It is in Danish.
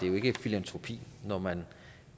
jo ikke filantropi når man